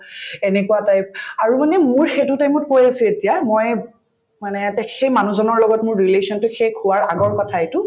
এনেকুৱা type আৰু মানে মোৰ সেইটো time ত এতিয়া মই মানে সেই মানুহজনৰ লগত মোৰ relation তো শেষ হোৱাৰ আগৰ কথা এইটো